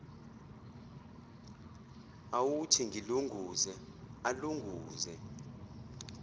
awuthi ngilunguze alunguze